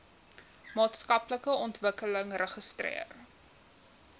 maatskaplike ontwikkeling registreer